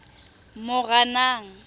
moranang